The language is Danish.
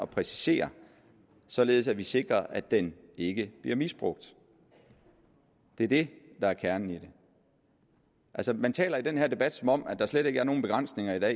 præcisere således at vi sikrer at den ikke bliver misbrugt det er det der er kernen i det altså man taler i den her debat som om der slet ikke er nogen begrænsninger